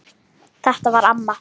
Þetta var amma.